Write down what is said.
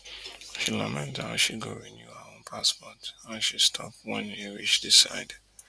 she lament how she go renew her own passport and she stop wen e reach di side